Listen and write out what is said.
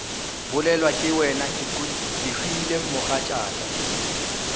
bolelwa ke wena kehwile mogatšaka